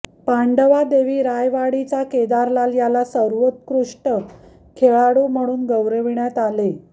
पांडवादेवी रायवाडीचा केदारलाल याला सर्वोत्कृष्ट खेळाडू म्हणून गौरविण्यात आले